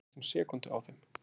Munaði næstum sekúndu á þeim